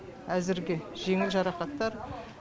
әзірге жеңіл жарақаттар